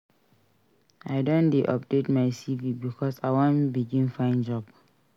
I don dey update my CV because I wan begin find job.